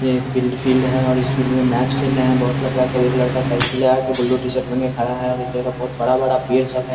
ये एक build field है। और इस फील्ड में मैच खेल रहे है बोहोत लड़का सब एक लड़का साइकिल लगा के ब्लू टी-शर्ट पहेन के खड़ा है और इस जगह बोहोत बड़ा-बड़ा पेड़ सब है।